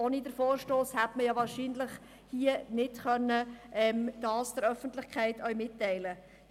Ohne den Vorstoss hätte man das hier ja wahrscheinlich nicht der Öffentlichkeit mitteilen können.